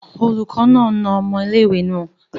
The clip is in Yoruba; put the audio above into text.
Oluko naa na omo ile-iwe naa